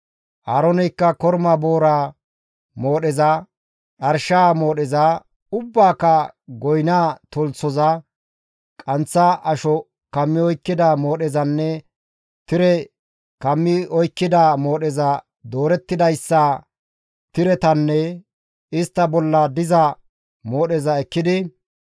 Aarooneykka korma booraa moodheza, dharshaa moodheza, ubbaaka goyna tolthoza, qanththa asho kammi oykkida moodhezanne tire kammi oykkida moodheza doorettidayssa tiretanne istta bolla diza moodheza ekkidi,